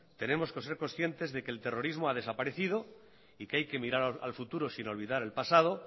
tenemos que ser conscientes de que el terrorismo ha desaparecido y que hay que mirar al futuro sin olvidar el pasado